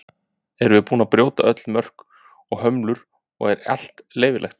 Erum við búin að brjóta öll mörk og hömlur og er allt leyfilegt?